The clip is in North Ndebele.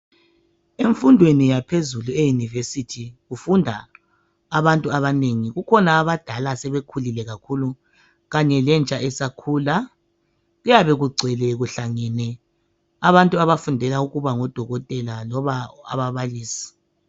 Emfundweni yaphezulu eyunivesithi kufunda abantu abanengi. Kukhona abadala asebekhulile kakhulu kanye lentsha esakhula. Kuyabe kugcwele kuhlangene abantu abafundela ukuba ngoDokotela loba ababalisi.